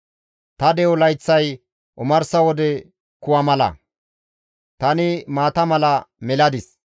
Ta de7o layththay omarsa wode kuwa mala; tani maata mala meladis.